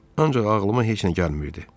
Ancaq ağlıma heç nə gəlmirdi.